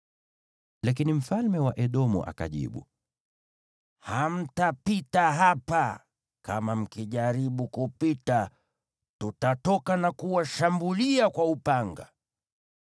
Lakini mfalme wa Edomu akajibu: “Hamtapita hapa; kama mkijaribu kupita, tutatoka na kuwashambulia kwa upanga.”